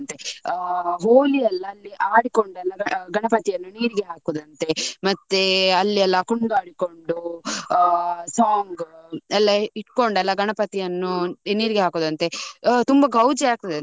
ಆ ಹೋಳಿ ಯೆಲ್ಲ ಅಲ್ಲಿ ಆಡಿಕೊಂಡು ಅಲ್ಲಿ ಗಣಪತಿಯನ್ನು ನೀರಿಗೆ ಹಾಕುದಂತೆ. ಮತ್ತೆ ಅಲ್ಲಿಯೆಲ್ಲ ಕುಣಿದಾಡಿಕೊಂಡು song ಎಲ್ಲ ಇಟ್ಕೊಂಡು ಎಲ್ಲ ಗಣಪತಿಯನ್ನು ನೀರಿಗೆ ಹಾಕುದಂತೆ. ತುಂಬಾ ಗೌಜಿ ಆಗ್ತಾದೆಅಂತೆ.